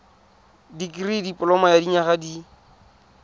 dikirii dipoloma ya dinyaga di